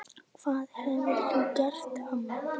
Hvað hefurðu gert amma?